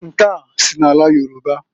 Nke a si n'ala Yoruba.